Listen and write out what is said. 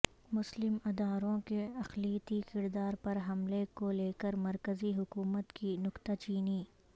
مسلم اداروں کے اقلیتی کردار پر حملے کو لیکر مرکزی حکومت کی نکتہ چینی